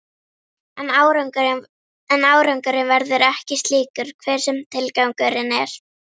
En árangurinn verður ekki slíkur, hver sem tilgangurinn er.